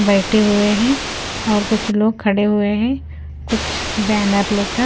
बैठे हुए हैं और कुछ लोग खड़े हुए हैं कुछ बैनर लेकर--